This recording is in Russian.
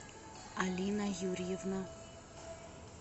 алина юрьевна